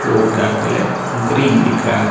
floor का colour green दिख रहा--